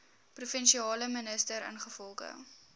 provinsiale minister ingevolge